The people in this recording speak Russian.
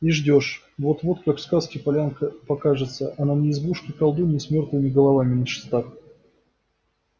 и ждёшь вот-вот как в сказке полянка покажется а на ней избушка колдуньи с мёртвыми головами на шестах